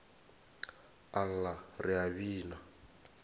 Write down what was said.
a lla re a bina